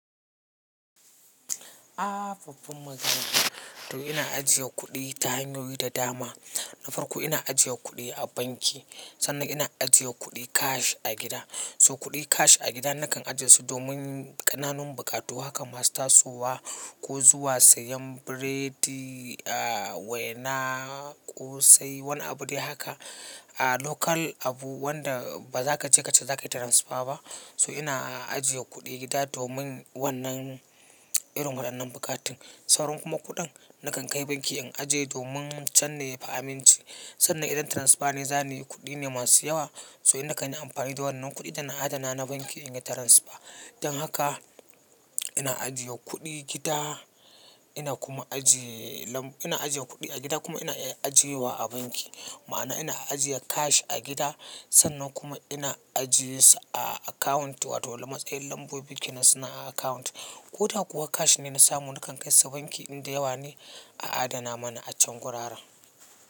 Afam magana. To ina ajiye kuɗi ta hanyoyi da dama. Na farko ina ajiye kuɗi a banki, sannan ina ajiye kuɗi cash a gida. So kuɗi cash a gida nakan ajiye su domin ƙananun buƙatu haka masu tasowa ko zuwa sayen biredi, a wena ko sai wani abu dai haka. A local abu wanda ba za ka je ka ce za ka yi transfer ba. So ina ajiye kuɗi gida domin wannan irin waɗannan buƙatun. Sauran kuma kuɗin nakan kai banki in ajiye domin can ne fa aminci. Sannan idan transfer ne, zane kuɗi ne masu yawa. So ina kan yi amfani da wannan kuɗi dana adana na banki in yi transfer. Don haka ina ajiye kuɗi gida, ina kuma ajiye lambu. Ina ajiye kuɗi a gida kuma ina ajiyewa a banki. Ma'ana ina ajiye cash a gida sannan kuma ina ajiyesu a account wato matsayar lambobin kinas na a account. Ko ta kuwa cash ne na samu nakan kai sa banki in da yawa ne a adana mana a can gurara.